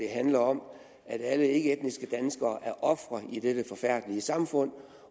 handlede om at alle ikkeetniske danskere er ofre i dette forfærdelige samfund